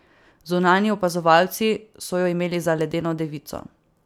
Zunanji opazovalci so jo imeli za ledeno devico.